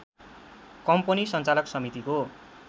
company सञ्चालक समितिको